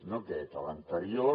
no aquest l’anterior